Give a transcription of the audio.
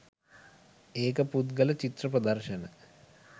ඒක පුද්ගල චිත්‍ර ප්‍රදර්ශන